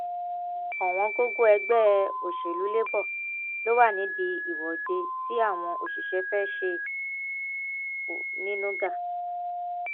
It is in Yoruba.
òwòǹgògò ẹgbẹ òṣèlú labour ló wà nídìí ìwọde tí àwọn òṣìṣẹ fẹẹ ṣe onínúgá